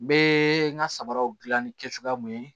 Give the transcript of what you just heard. N bɛ n ka samaraw dilan ni kɛ cogoya mun ye